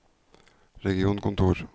regionkontor